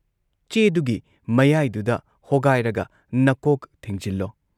ꯆꯦꯗꯨꯒꯤ ꯃꯌꯥꯏꯗꯨꯗ ꯍꯣꯒꯥꯏꯔꯒ ꯅꯀꯣꯛ ꯊꯤꯡꯖꯤꯜꯂꯣ ꯫